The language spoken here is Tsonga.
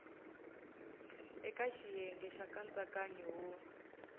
eka xiyenge xa nkatsakanyo wo